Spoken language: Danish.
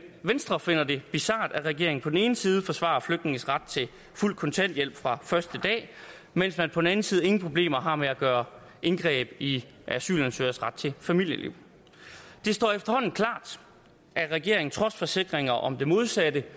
venstre finder det bizart at regeringen på den ene side forsvarer flygtninges ret til fuld kontanthjælp fra første dag mens man på den anden side ingen problemer har med at gøre indgreb i asylansøgeres ret til familieliv det står efterhånden klart at regeringen trods forsikringer om det modsatte